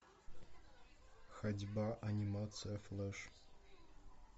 ходьба анимация флеш